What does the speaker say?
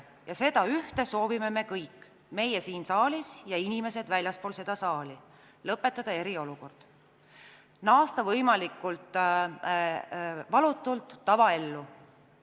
Ja seda ühte soovime me kõik, meie siin saalis ja inimesed väljaspool seda saali – lõpetada eriolukord, naasta võimalikult valutult tavaellu.